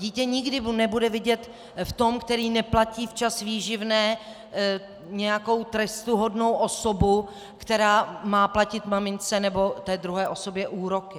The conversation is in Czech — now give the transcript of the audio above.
Dítě nikdy nebude vidět v tom, který neplatí včas výživné, nějakou trestuhodnou osobu, která má platit mamince, nebo té druhé osobě úroky.